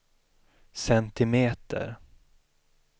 centimeter